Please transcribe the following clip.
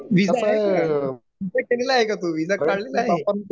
Visa आहे का, visa केलेला आहे का तू, व्हिसा काढलेला आहे ?